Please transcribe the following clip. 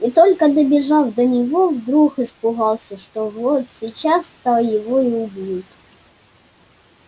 и только добежав до него вдруг испугался что вот сейчас то его и убьют